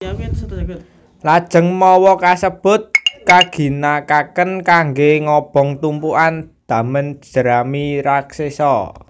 Lajeng mawa kasebut kaginakaken kanggé ngobong tumpukan damen jerami raksesa